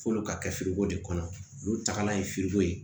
F'olu ka kɛ fereko de kɔnɔ olu tagala ye fereko ye